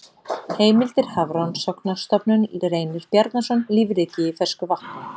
Heimildir Hafrannsóknarstofnun Reynir Bjarnason, Lífríkið í fersku vatni.